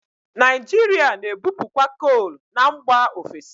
Naijiria na-ebupukwa kol na mgba ofesi.